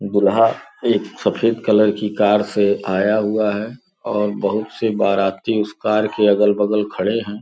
दुल्हा एक सफेद कलर की कार से आया हुआ है और बहुत से बाराती उस कार के अगल-बगल खड़े हैं।